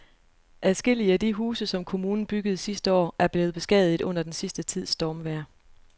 Adskillige af de huse, som kommunen byggede sidste år, er blevet beskadiget under den sidste tids stormvejr.